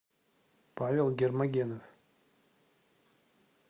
павел гермогенов